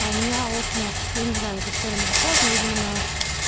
а у меня окна я не знаю на какую сторону выходят но видимо на